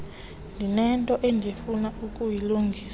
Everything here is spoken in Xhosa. ndinento endifuna ukuyilungisa